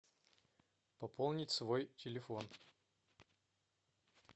пополнить свой телефон